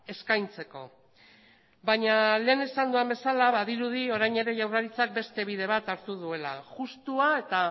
eskaintzeko baina lehen esan dudan bezala badirudi orain ere jaurlaritzak beste bide bat hartu duela justua eta